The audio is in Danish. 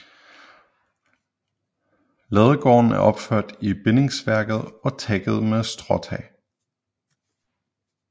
Ladegården er opført i bindingsværk og tækket med stråtag